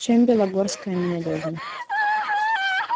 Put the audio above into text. чем белогорская ненадёжна